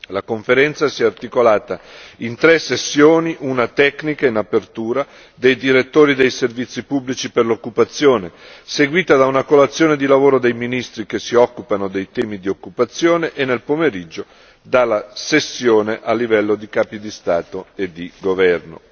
La Conferenza si è articolata in tre sessioni una tecnica in apertura dei direttori dei servizi pubblici per l'occupazione, seguita da una colazione di lavoro dei ministri che si occupano dei temi di occupazione e nel pomeriggio dalla sessione a livello di capi di Stato e di governo.